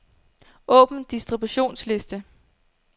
Åbn distributionsliste.